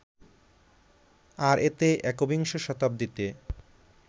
আর এতে একবিংশ শতাব্দীতে